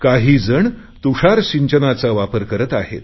काहीजण तुषार सिंचनाचा वापर करत आहेत